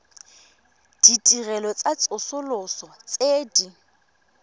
ditirelo tsa tsosoloso tse di